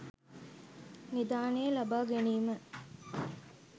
නිධානය ලබා ගැනීම